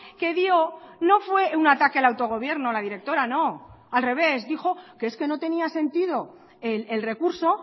que dio no fue un ataque al autogobierno la directora no al revés dijo que es que no tenía sentido el recurso